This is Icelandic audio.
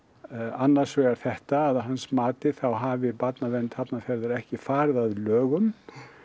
annars vegar þetta að að hans mati þá hafi barnavernd Hafnarfjarðar ekki farið að lögum